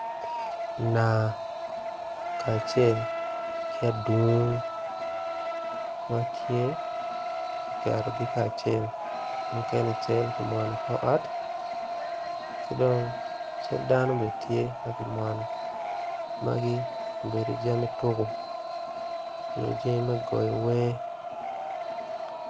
Nanga kacel ki adungo matye kiketogi kacel mukene cal ki mwono ikor ot ki dong cal dano bene tye ma kimwono magibedo jami tuku nyo jami me goyo wer.